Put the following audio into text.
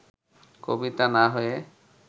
কবিতা না-হয়ে